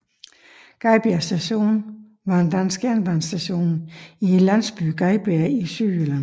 Gadbjerg Station var en dansk jernbanestation i landsbyen Gadbjerg i Sydjylland